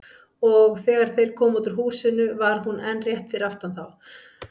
Og þegar þeir komu út úr húsinu var hún enn rétt fyrir aftan þá.